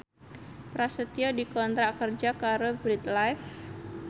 Prasetyo dikontrak kerja karo Bread Life